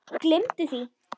Gleymdu því!